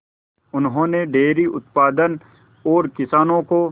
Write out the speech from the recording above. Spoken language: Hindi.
उन्होंने डेयरी उत्पादन और किसानों को